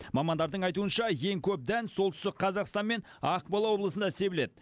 мамандардың айтуынша ең көп дән солтүстік қазақстан мен ақмола облысында себіледі